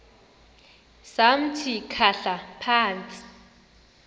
samthi khahla phantsi